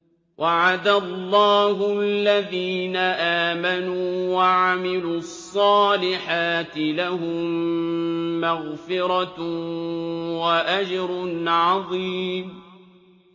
وَعَدَ اللَّهُ الَّذِينَ آمَنُوا وَعَمِلُوا الصَّالِحَاتِ ۙ لَهُم مَّغْفِرَةٌ وَأَجْرٌ عَظِيمٌ